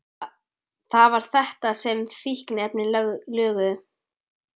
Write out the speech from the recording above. Það var þetta sem fíkniefnin löguðu.